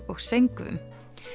og söngvum